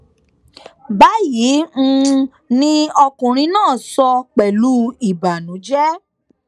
báyìí um ni ọkùnrin náà sọ pẹlú ìbànújẹ